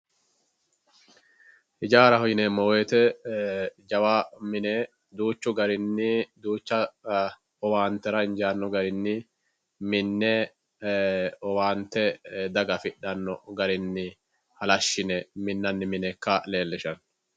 Hijaaraho yineemmo woyite jawa mine duuchu garinni duucha owaantera injaanno garinni minne owaante daga afidhanno garinni hlshshine minnanni mine ikka leellishshanno.